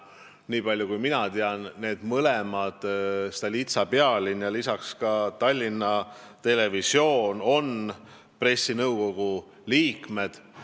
Nii palju kui mina tean, on mõlemad, Stolitsa ja Pealinn, lisaks ka Tallinna Televisioon pressinõukogu liikmed.